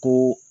Ko